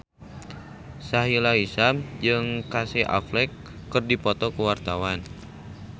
Sahila Hisyam jeung Casey Affleck keur dipoto ku wartawan